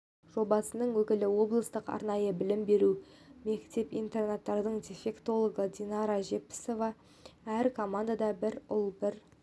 жобасының өкілі облыстық арнайы білім беру мекеп-интернатының дефектологы динара жетпісова әр командада бір ұл бір